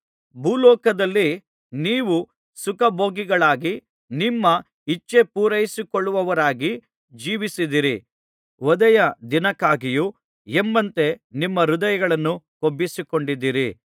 ಭೂಲೋಕದಲ್ಲಿ ನೀವು ಸುಖಭೋಗಿಗಳಾಗಿ ನಿಮ್ಮ ಇಚ್ಛೆಪೂರೈಸಿಕೊಳ್ಳುವವರಾಗಿ ಜೀವಿಸಿದ್ದೀರಿ ವಧೆಯ ದಿನಕ್ಕಾಗಿಯೋ ಎಂಬಂತೆ ನಿಮ್ಮ ಹೃದಯಗಳನ್ನು ಕೊಬ್ಬಿಸಿಕೊಂಡಿದ್ದೀರಿ